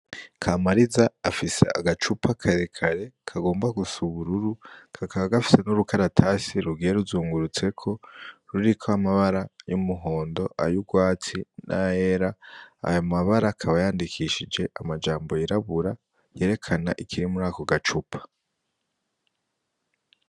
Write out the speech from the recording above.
Kamariza afise agacupa karekare kagomba gusa n'ubururu, kakaba gafise n'udukaratasi rugiye ruzungurutseko, ruriko amabara y'umuhondo, ay'urwatsi n'ayera. Ayo mabara akaba yandikishije amabara yirabura, yerekana ikiri mu gacupa.